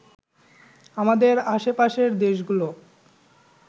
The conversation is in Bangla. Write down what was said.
আমাদের আশপাশের দেশগুলো